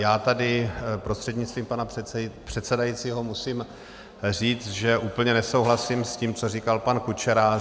Já tady prostřednictvím pana předsedajícího musím říct, že úplně nesouhlasím s tím, co říkal pan Kučera.